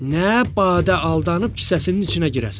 Nə badə aldanıb kisəsinin içinə girəsən.